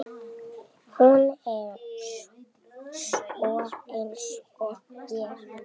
Hún er sönn einsog ég.